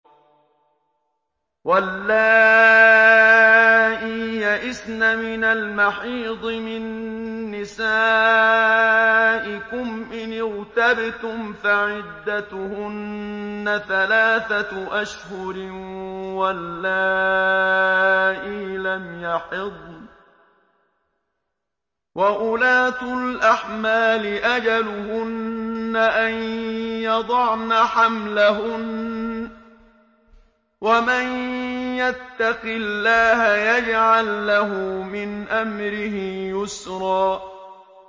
وَاللَّائِي يَئِسْنَ مِنَ الْمَحِيضِ مِن نِّسَائِكُمْ إِنِ ارْتَبْتُمْ فَعِدَّتُهُنَّ ثَلَاثَةُ أَشْهُرٍ وَاللَّائِي لَمْ يَحِضْنَ ۚ وَأُولَاتُ الْأَحْمَالِ أَجَلُهُنَّ أَن يَضَعْنَ حَمْلَهُنَّ ۚ وَمَن يَتَّقِ اللَّهَ يَجْعَل لَّهُ مِنْ أَمْرِهِ يُسْرًا